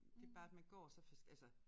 Det bare at man går så altså